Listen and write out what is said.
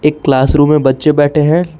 एक क्लासरूम में बच्चे बैठे हैं।